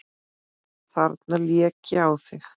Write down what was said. Þarna lék ég á þig!